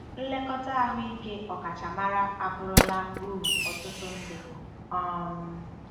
Nlekọta ahụike ọkachamara abụrụla uru ọtụtụ ndị.. um